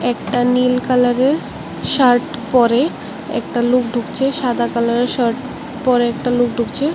একটা নীল কালারের শার্ট পরে একটা লোক ঢুকছে সাদা কালারের শার্ট পরে একটা লোক ঢুকছে।